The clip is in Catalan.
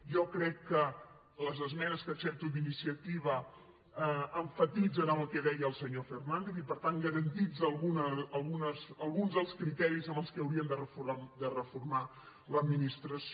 jo crec que les es·menes que accepto d’iniciativa emfatitzen amb el que deia el senyor fernàndez i per tant garanteixen al·guns dels criteris amb què hauríem de reformar l’ad·ministració